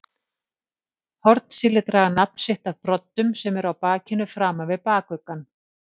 Hornsíli draga nafn sitt af broddum sem eru á bakinu framan við bakuggann.